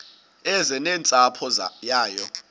eze nentsapho yayo